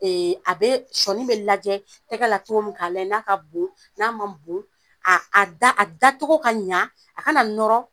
a bee sɔɔni be lajɛ tɛgɛ la cogo min k'a lajɛ n'a ka bon n'a man bon aa a da a dacogo ka ɲa a kana nɔrɔ